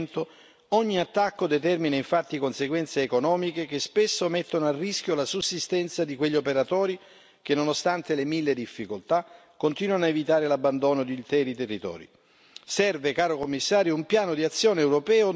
Oltre alla crudeltà nei confronti degli animali in allevamento, ogni attacco determina infatti conseguenze economiche che spesso mettono a rischio la sussistenza di quegli operatori che, nonostante le mille difficoltà, continuano a evitare l'abbandono di interi territori.